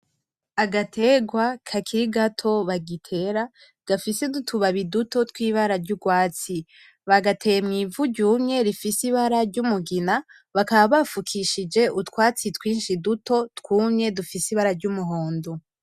Agategwa kakiri gato bagitera gafise n'utubabi duto twibara ry'ugwatsi bagateye mw'ivu ryumye rifise ibara ry'umugina bakaba bafukishije utwatsi twinshi duto twumye dufise ibara ry'umuhondo.